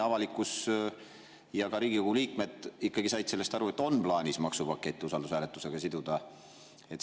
Avalikkus ja ka Riigikogu liikmed said sellest aru, et on plaanis maksupakett usaldushääletusega siduda.